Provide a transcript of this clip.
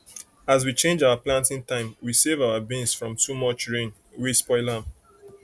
as we change our planting time we save our beans from too much rain wey for spoil am